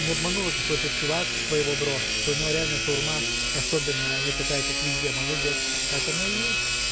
не обманул этот короче парень с твоего бро что у него реально шаурма особенная а не такая как везде молодец так оно и есть